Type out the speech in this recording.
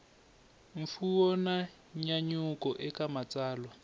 mfuwo na nyanyuko eka matsalwa